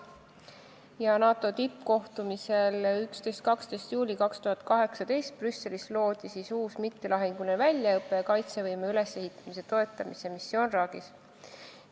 Uus mittelahinguline väljaõppe- ja kaitsevõime ülesehitamise toetamise missioon Iraagis loodi NATO tippkohtumisel 11.–12. juulil 2018 Brüsselis.